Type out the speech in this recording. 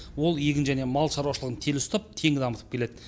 ол егін және мал шаруашылығын тел ұстап тең дамытып келеді